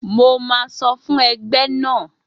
Mo máa sọfún ẹgbẹ́ náà.